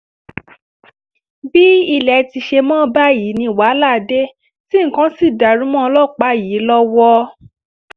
bí ilé ti ṣe mọ́ báyìí ni wàhálà dé tí nǹkan sì dàrú mọ́ ọlọ́pàá yìí lọ́wọ́